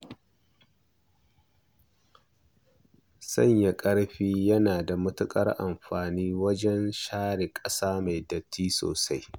Sanya ƙarfi yana da matuƙar amfani wajen share ƙasa mai datti sosai.